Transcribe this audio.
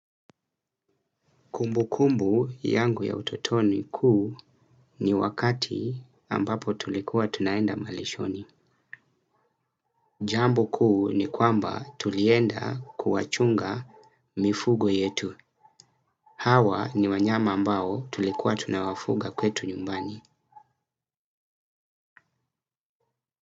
Kumbu kumbu yangu ya utotoni kuu ni wakati ambapo tulikuwa tunaenda malishoni. Jambo kuu ni kwamba tulienda kuwachunga mifugo yetu. Hawa ni wanyama ambao tulikuwa tunawafuga kwetu nyumbani.